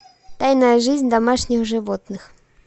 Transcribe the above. тайная жизнь домашних животных